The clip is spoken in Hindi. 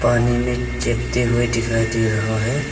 पानी में चिपते हुए दिखाई दे रहा है।